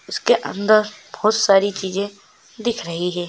उसके अंदर बोहत सारी चिजे दिख रही है।